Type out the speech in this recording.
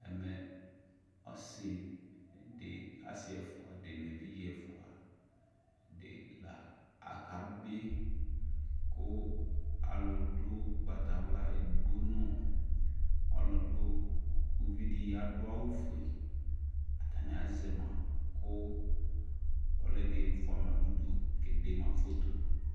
Ɛmɛ ɔsι dι, asι ɛfʋa dι nʋ evidze ɛfʋa dι la aka bι, kʋ alʋ dʋ ʋgbatawla edigbo nʋ ɔlʋ dʋ, uvi dι,adʋ awʋ fue, atanι azɛ ma kʋ ɔlɔ dι fʋa ma nʋ udu, kee de ma foto